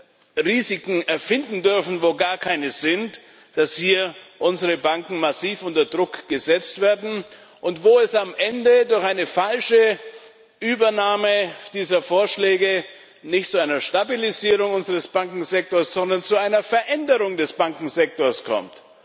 keine Risiken erfinden dürfen, wo gar keine sind, sodass hier unsere Banken massiv unter Druck gesetzt werden und es am Ende durch eine falsche Übernahme dieser Vorschläge nicht zu einer Stabilisierung unseres Bankensektors, sondern zu einer Veränderung des Bankensektors kommt.